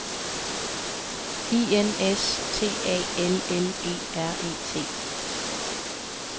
I N S T A L L E R E T